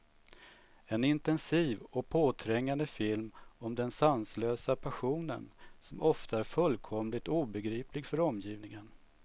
En intensiv och påträngande film om den sanslösa passionen, som ofta är fullkomligt obegriplig för omgivningen.